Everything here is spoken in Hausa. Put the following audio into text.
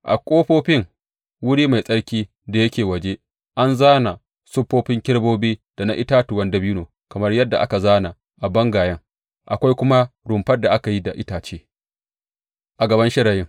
A ƙofofin wuri mai tsarki da yake waje an zāna siffofin kerubobi da na itatuwan dabino kamar yadda aka zāna a bangayen, akwai kuma rumfar da aka yi da itace a gaban shirayin.